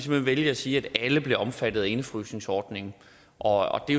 vælge at sige at alle bliver omfattet af indefrysningsordningen og det